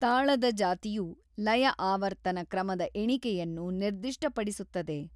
ತಾಳದ ಜಾತಿಯು ಲಯ ಆವರ್ತನ ಕ್ರಮದ ಎಣಿಕೆಯನ್ನು ನಿರ್ದಿಷ್ಟಪಡಿಸುತ್ತದೆ.